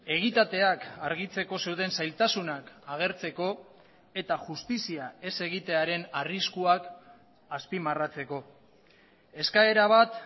egitateak argitzeko zeuden zailtasunak agertzeko eta justizia ez egitearen arriskuak azpimarratzeko eskaera bat